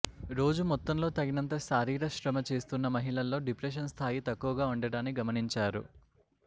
రోజు మొత్తంలో తగినంత శారీర శ్రమ చేస్తున్న మహిళల్లో డిప్రెషన్ స్థాయి తక్కువగా ఉండడాన్ని గమనించారు